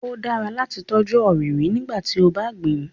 Ó dára láti tọ́jú ọrinrin nígbàtí o bá gbìn